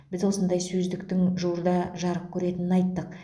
біз осындай сөздіктің жуырда жарық көретінін айттық